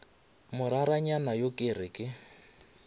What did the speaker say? moraranyana yo ke re ke